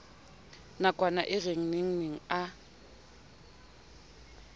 nakwana e re nengneng a